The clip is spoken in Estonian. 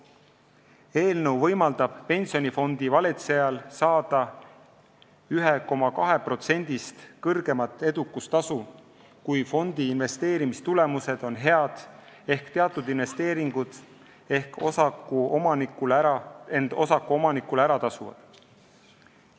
Eelnõu võimaldab pensionifondi valitsejal saada 1,2%-st kõrgemat edukustasu, kui fondi investeerimistulemused on head ehk teatud investeeringud on end osakuomanikule ära tasunud.